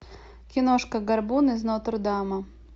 киношка горбун из нотр дама